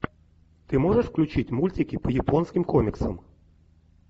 ты можешь включить мультики по японским комиксам